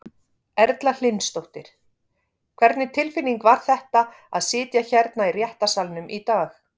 Erla Hlynsdóttir: Hvernig tilfinning var þetta að sitja hérna í réttarsalnum í dag?